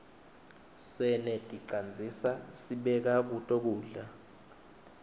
seneticandzisa sibeka kuto kudla